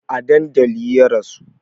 A dandali ya rasu